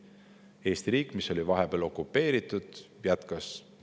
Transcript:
Eesti riik, mis oli vahepeal okupeeritud, jätkas.